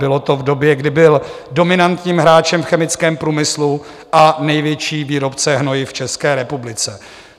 Bylo to v době, kdy byl dominantním hráčem v chemickém průmyslu a největší výrobce hnojiv v České republice.